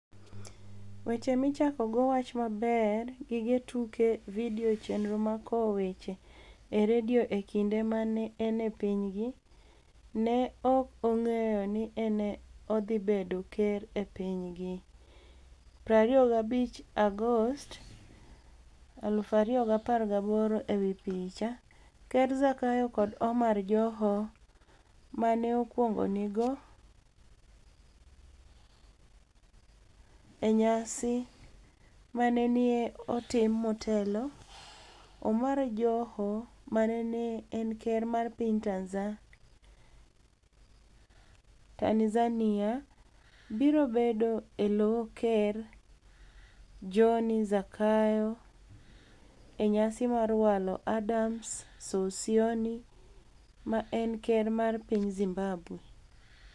Weche Michakogo Wach Maber Gige Tuke Vidio Cheniro mag Kowo Weche e Radio e kinide ma ni e eni e piniygi, ni e ok onig'eyo nii ni e odhi bedo ker e piniygi.25 Agost 2018 e wi picha, Ker zakayo kod Omar Joho ma ni e okwonigoni e e niyasi ma ni e otim motelo Omar Joho ma ni e eni ker mar piniy Tanizaniia biro bedo e lo ker Johni zakayo e niyasi mar walo Adams Sosionii ma eni ker mar piniy Zimbabwe.